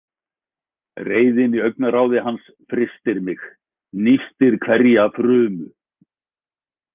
Reiðin í augnaráði hans frystir mig, nístir hverja frumu.